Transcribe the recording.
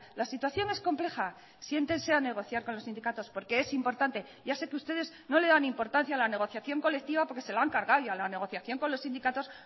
la situación es compleja siéntense a negociar con los sindicatos porque es importante ya sé que ustedes no le dan importancia a la negociación colectiva porque se lo han cargado y a la negociación con los sindicatos